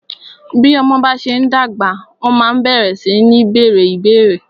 Bí ọmọ bá ṣe ń dàgbà, wọ́n ma ń bẹ̀rẹ sí ní bèèrè ìbéérè.